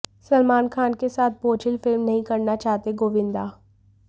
सलमान खान के साथ बोझिल फिल्म नहीं करना चाहते गोविंदा